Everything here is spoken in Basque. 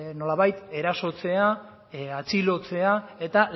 nolabait erasotzea atxilotzea eta